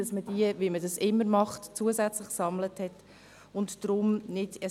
Man kann diese Anzahl zusätzlich sammeln, wie man dies immer schon getan hat.